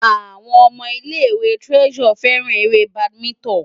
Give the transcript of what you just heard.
Àwọn ọmọ ilé-ìwé Treasure fẹ́ràn eré badminton.